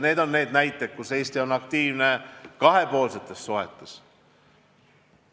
Need on näited Eesti aktiivsusest kahepoolsetes suhetes.